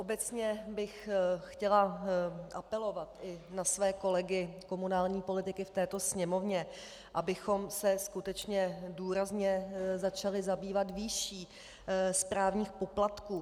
Obecně bych chtěla apelovat i na své kolegy komunální politiky v této Sněmovně, abychom se skutečně důrazně začali zabývat výší správních poplatků.